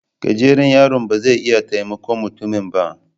Gajeren yaron ba zai iya taimakon mutumin ba